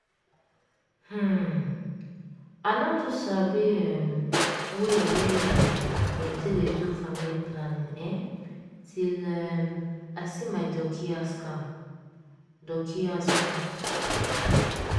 um i no too sabi um way wey um dem take dey do family planning[um]till um i see my doci ask am. doci ask am.